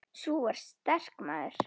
Sú er sterk, maður!